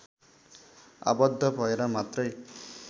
आबद्ध भएर मात्रै